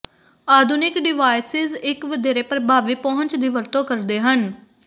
ਆਧੁਨਿਕ ਡਿਵਾਈਸਿਸ ਇੱਕ ਵਧੇਰੇ ਪ੍ਰਭਾਵੀ ਪਹੁੰਚ ਦੀ ਵਰਤੋਂ ਕਰਦੇ ਹਨ